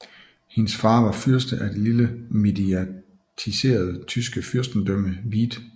Hendes far var fyrste af det lille mediatiserede tyske fyrstendømme Wied